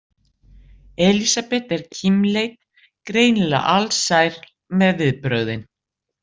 Elísabet er kímileit, greinilega alsæl með viðbrögðin.